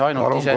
Palun!